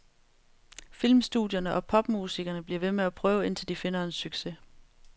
Filmstudierne og popmusikerne bliver ved med at prøve, indtil de finder en succes.